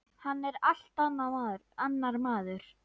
Hann er allt annar maður.